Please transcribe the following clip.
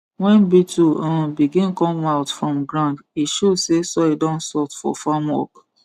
when beetle um begin come out from ground e show say soil don soft for farm work